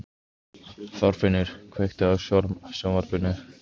Róbert: Gera íbúarnir þarna greinarmun á hermönnum og friðargæsluliðum?